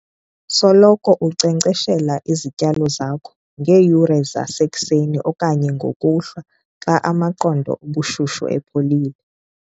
Soloko unkcenkceshela izityalo zakho ngeeyure zasekuseni okanye ngokuhlwa, xa amaqondo obushushu epholile.